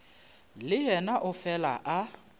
le yena o fele a